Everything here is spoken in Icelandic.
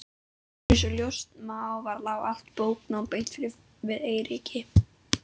Einsog ljóst má vera lá allt bóknám beint við Eiríki.